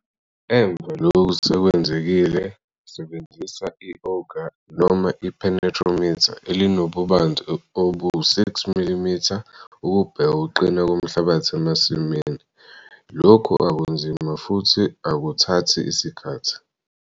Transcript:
Emva lokhu kwenzekile, sebenzisa i-'auger' noma i-'penetrometer' elinobubanzi obu-6 mm ukubheka ukuqina komhlabathi emasimini - lokhu akunzima futhi akuthathi isikhathi.